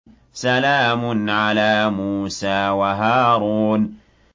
سَلَامٌ عَلَىٰ مُوسَىٰ وَهَارُونَ